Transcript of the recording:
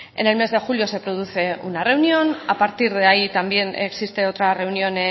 en el mes de julio se produce una reunión a partir de ahí también existe otra reunión